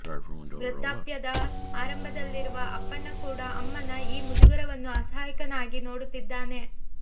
ವೃದ್ಧಾಪ್ಯದ ಆರಂಭದಲ್ಲಿರುವ ಅಪ್ಪಣ್ಣ ಕೂಡ ಅಮ್ಮನ ಈ ಮುಜುಗರವನ್ನು ಅಸಹಾಯಕನಾಗಿ ನೋಡುತ್ತಿದ್ದಾನೆ